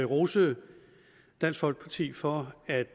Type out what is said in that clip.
rose dansk folkeparti for at